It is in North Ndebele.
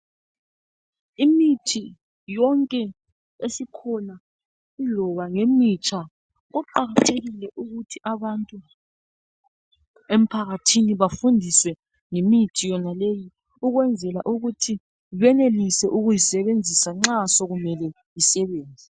Imithi yonke esikhona iloba ngemitsha Kuqakathekile ukuthi abantu emphakathini bafundiswe ngemithi yonaleyi ukwenzela ukuthi benelise ukuyisebenzisa nxa sekumele isebenze.